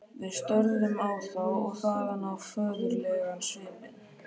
Við störðum á þá- og þaðan á föðurlegan svipinn.